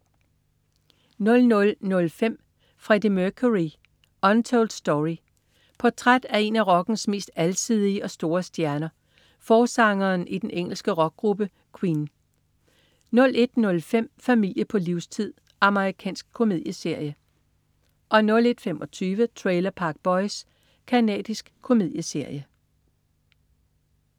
00.05 Freddie Mercury. Untold Story. Portræt af en af rockens mest alsidige og store stjerner, forsangeren i den engelske rockgruppe Queen 01.05 Familie på livstid. Amerikansk komedieserie 01.25 Trailer Park Boys. Canadisk komedieserie